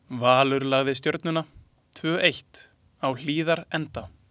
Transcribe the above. Valur lagði Stjörnuna, tvö eitt, á Hlíðarenda.